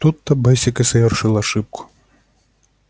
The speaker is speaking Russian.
тут то бэсик и совершил ошибку